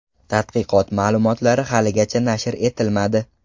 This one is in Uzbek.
Tadqiqot ma’lumotlari haligacha nashr etilmadi.